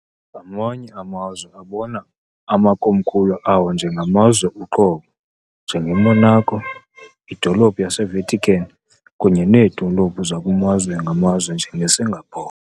Amanye amazwe abona amakomkhulu awo njengamazwe uqobo, njengeMonaco, idolophu yaseVatican kunye needolophu zakumazwe ngamazwe njengeSingapore.